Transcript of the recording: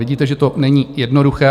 Vidíte, že to není jednoduché.